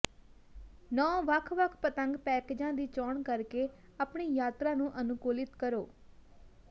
ਨੌ ਵੱਖ ਵੱਖ ਪਤੰਗ ਪੈਕੇਜਾਂ ਦੀ ਚੋਣ ਕਰਕੇ ਆਪਣੀ ਯਾਤਰਾ ਨੂੰ ਅਨੁਕੂਲਿਤ ਕਰੋ